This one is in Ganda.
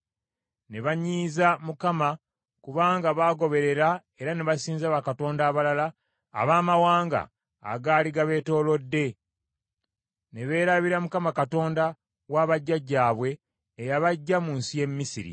Ne banyiiza Mukama kubanga baagoberera era ne basinza bakatonda abalala abamawanga agaali gabeetoolodde ne beerabira Mukama Katonda wa bajjajjaabwe eyabaggya mu nsi ye Misiri.